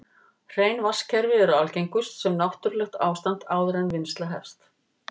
Hrein vatnskerfi eru algengust sem náttúrlegt ástand áður en vinnsla hefst.